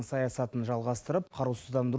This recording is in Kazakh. саясатын жалғастырып қарусыздандыру